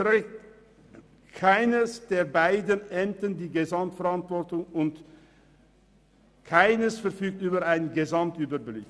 Keines der beiden Ämter trägt dabei die Gesamtverantwortung, und keines verfügt über einen Gesamtüberblick.